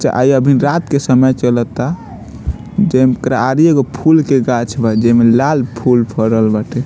चा अभी रात के समय चलता जेन करारी एगो फूल के गाछ बा जेमें लाल फूल फरल बाटे।